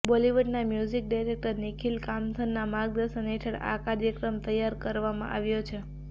બોલીવુડના music director Nikhil કામથના માર્ગદર્શન હેઠળ આ કાર્યક્રમ તૈયાર કરવામાં આવ્યો છે